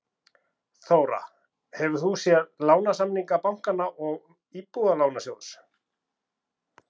Þóra: Hefur þú séð lánasamninga bankanna og Íbúðalánasjóðs?